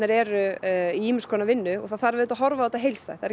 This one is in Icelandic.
eru í ýmiss konar vinnu það þarf auðvitað að horfa á þetta heildstætt það